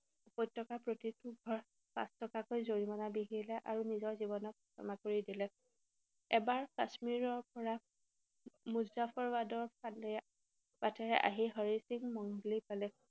উপত্যকাৰ প্ৰতিটো ঘৰ পাঁচ টকাকৈ জৰিমনা বিহিলে আৰু নিজৰ জীৱনক ক্ষমা কৰি দিলে। এবাৰ কাশ্মীৰৰ পৰা মুজাফৰবাদৰ ফালে আহি হৰি সিং মনগুলি পালেহি।